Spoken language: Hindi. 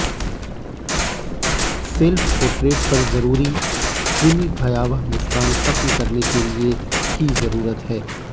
सेल्फ पोर्ट्रेट पर जरूरी खूनी भयावह मुस्कान खत्म करने के लिए की जरूरत है